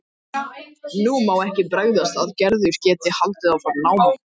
Nú má ekki bregðast að Gerður geti haldið áfram námi.